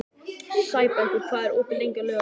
Sæbergur, hvað er opið lengi á laugardaginn?